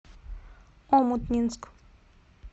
омутнинск